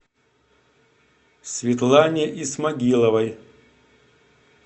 светлане исмагиловой